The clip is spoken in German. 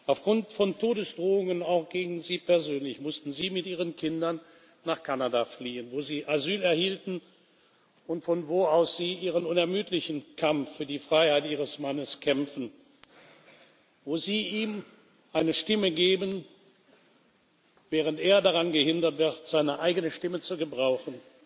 Aufgrund von Todesdrohungen, auch gegen Sie persönlich, mussten Sie mit Ihren Kindern nach Kanada fliehen, wo Sie Asyl erhielten und von wo aus Sie Ihren unermüdlichen Kampf für die Freiheit Ihres Mannes führen, wo Sie ihm eine Stimme geben, während er daran gehindert wird, seine eigene Stimme zu gebrauchen.